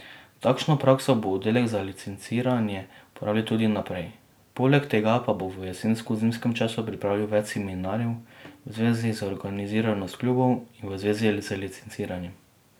Takšno prakso bo oddelek za licenciranje uporabljal tudi naprej, poleg tega pa bo v jesensko zimskem času pripravil več seminarjev v zvezi z organiziranostjo klubov in v zvezi z licenciranjem.